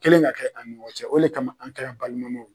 kɛlen ka kɛ an ni ɲɔgɔn cɛ o de kama an kɛla balimamaw ye.